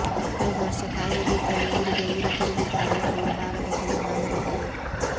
ಕಳೆದ ವರ್ಷ ಕಾಯಿಲೆ ಭೀತಿಯಲ್ಲಿ ಊರಿಗೆ ಊರೇ ತೊರೆದಿದ್ದ ಅರಳಗೋಡು ಭಾಗದ ಕೆಲ ನಾಗರಿಕರು